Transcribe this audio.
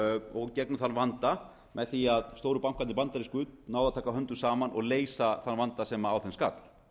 og gegnum þann vanda með því að stóru bankarnir bandarísku náðu að taka höndum saman og leysa þann vanda sem á þeim skall